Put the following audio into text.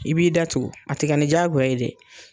I b'i da tu a tikɛ ani jagoya ye dɛ.